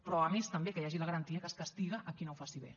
però a més també que hi hagi la garantia que es castiga qui no ho faci bé